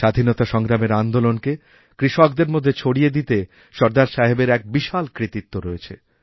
স্বাধীনতাসংগ্রামের আন্দোলনকে কৃষকদের মধ্যে ছড়িয়ে দিতে সরদার সাহেবের এক বিশাল কৃতিত্বরয়েছে